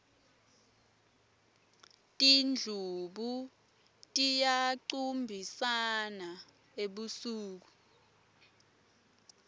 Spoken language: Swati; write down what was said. tindlubu tiyacumbisana ebusuku